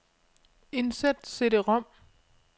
Indsæt cd-rom.